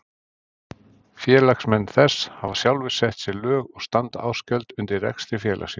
Félagsmenn þess hafa sjálfir sett sér lög og standa ársgjöld undir rekstri félagsins.